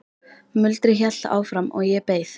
Muldrið hélt áfram og ég beið.